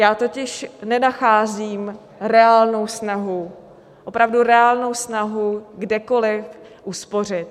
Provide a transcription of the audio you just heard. Já totiž nenacházím reálnou snahu, opravdu reálnou snahu kdekoli uspořit.